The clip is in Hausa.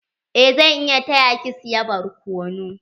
Eh zan iya taya ki siya barkonu.